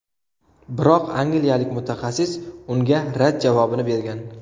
Biroq angliyalik mutaxassis unga rad javobini bergan.